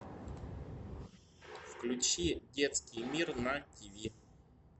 включи детский мир на тиви